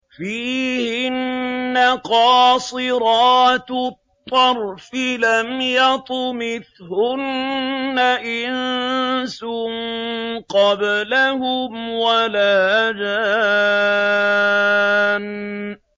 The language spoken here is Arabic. فِيهِنَّ قَاصِرَاتُ الطَّرْفِ لَمْ يَطْمِثْهُنَّ إِنسٌ قَبْلَهُمْ وَلَا جَانٌّ